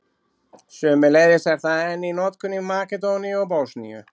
Sömuleiðis er það enn í notkun í Makedóníu og Bosníu.